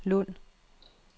Lund